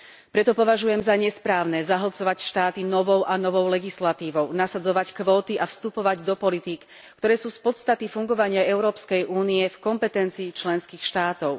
Preto považujem za nesprávne zahlcovať štáty novou a novou legislatívou, nasadzovať kvóty a vstupovať do politík, ktoré sú z podstaty fungovania Európskej únie v kompetencii členských štátov.